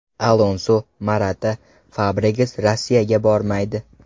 Alonso, Morata, Fabregas Rossiyaga bormaydi.